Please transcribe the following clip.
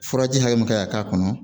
Furaji hakɛ min kan ka k'a kɔnɔ